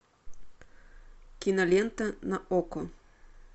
кинолента на окко